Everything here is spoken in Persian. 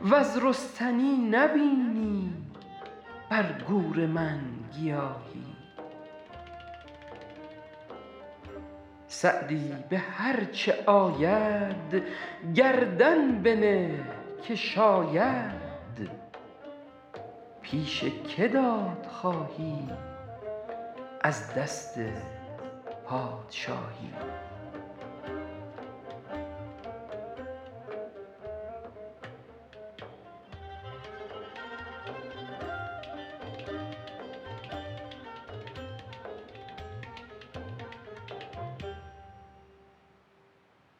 وز رستنی نبینی بر گور من گیاهی سعدی به هر چه آید گردن بنه که شاید پیش که داد خواهی از دست پادشاهی